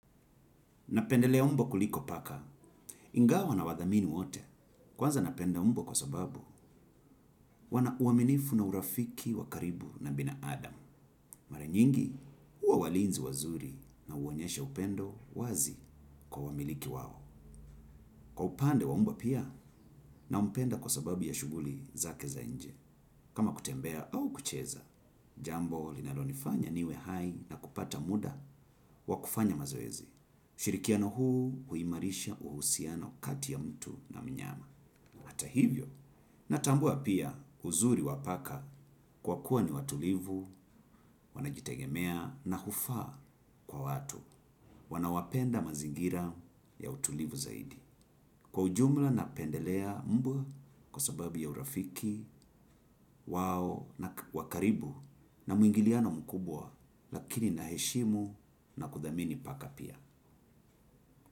Napendelea umbwa kuliko paka. Ingawa na wathamini wote. Kwanza napenda umbwa kwa sababu wana uaminifu na urafiki wa karibu na binadamu. Mara nyingi huwa walinzi wazuri na uonyesha upendo wazi kwa wamiliki wao. Kwa upande wa umbwa pia nampenda kwa sababu ya shuguli zake za nje. Kama kutembea au kucheza, jambo linalonifanya niwe hai na kupata muda wa kufanya mazoezi. Shirikiano huu huimarisha uhusiano kati ya mtu na mnyama. Hata hivyo, natambua pia uzuri wa paka kwa kuwa ni watulivu, wanajitegemea na hufa kwa watu. Wanawapenda mazingira ya utulivu zaidi. Kwa ujumla na pendelea mbwa kwa sababu ya urafiki, wao na wakaribu na muingiliano mkubwa lakini na heshimu na kuthamini paka pia.